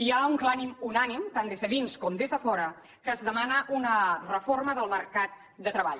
hi ha un clam unànime tant des de dins com des de fora que es demana una reforma del mercat de treball